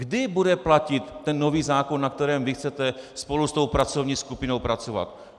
Kdy bude platit ten nový zákon, na kterém vy chcete spolu s tou pracovní skupinou pracovat?